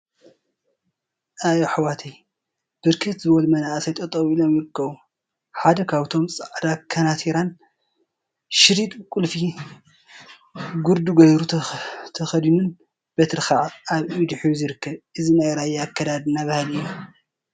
አይ አሕዋተይ! ብርክት ዝበሉ መናእሰይ ጠጠው ኢሎም ይርከቡ፡፡ ሓደ ካብአቶም ፃዕዳ ከናቲራን ሸሪጥ ብቁልፊ ጉርዲ ገይሩ ተከዲኑን በትሪ ከዓ አብ ኢዱ ሒዙ ይርከብ፡፡ እዚ ናይ ራያ አከዳድና ባህሊ እዩ፡፡